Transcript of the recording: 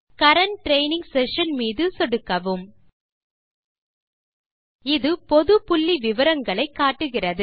current training session மீது சொடுக்கவும் இது பொது புள்ளி விவரங்களை காட்டுகிறது